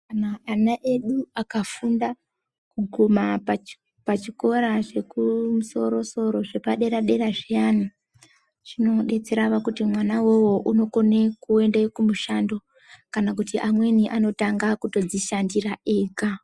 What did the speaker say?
Kana ana edu akafunda kuguma pachikora chekumusorosoro zvepaderadera zviyani, chinodetsera kuti mwana uwowo unokone kuende kumushando, kana kuti amweni anotanga kutodzishandira ega.